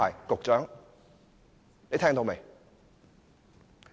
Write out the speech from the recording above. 局長，你聽到沒有？